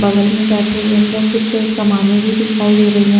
बगल में बैठे हुए अंदर कुछ सामानें भी दिखाई दे रही है।